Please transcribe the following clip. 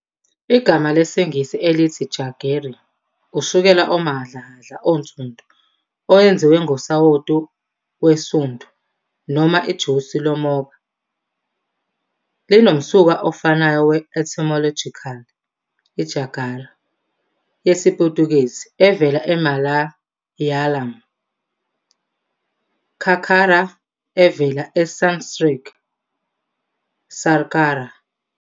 Igama lesiNgisi elithi jaggery, ushukela omahhadlahhadla onsundu owenziwe ngosawoti wesundu noma ijusi lomoba, linomsuka ofanayo we-etymological- i-jágara yesiPutukezi evela e-Malayalam cakkarā, evela eSanskrit śarkarā.